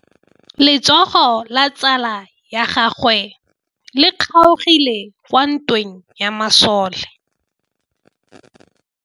Letsôgô la tsala ya gagwe le kgaogile kwa ntweng ya masole.